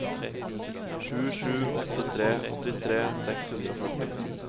sju sju åtte tre åttitre seks hundre og førti